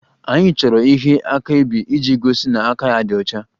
Anyị chọrọ ihe akaebe iji gosi na aka ya dị ọcha